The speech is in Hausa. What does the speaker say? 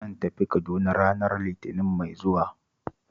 Zan tafi Kaduna ranar Litinin mai zuwa